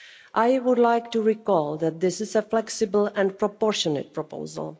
I would like to recall that this is a flexible and proportionate proposal.